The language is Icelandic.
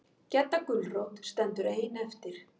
Gedda gulrót stendur ein eftir.